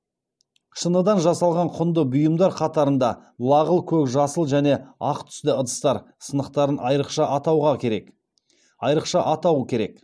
шыныдан жасалған құнды бұйымдар қатарында лағыл көк жасыл және ақ түсті ыдыстар сынықтарын айрықша атау керек